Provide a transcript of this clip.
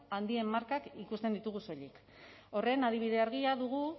handien markak ikusten ditugu soilik horren adibide argia dugu